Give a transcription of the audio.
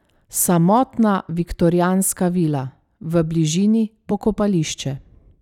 Samotna viktorijanska vila, v bližini pokopališče.